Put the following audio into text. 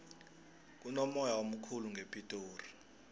kunomoya omkhulu ngepitori